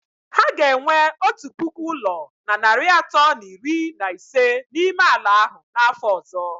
Ha ga-enwe otu puku ụlọ na narị atọ na iri na ise n'ime ala ahụ n'afọ ọzọ